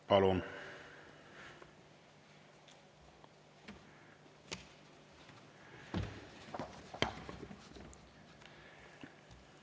Palun!